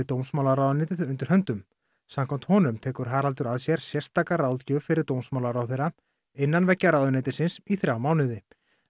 dómsmálaráðuneytið undir höndum samkvæmt honum tekur Haraldur að sér sérstaka ráðgjöf fyrir dómsmálaráðherra innan veggja ráðuneytisins í þrjá mánuði